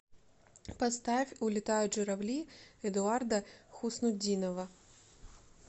поставь улетают журавли эдуарда хуснутдинова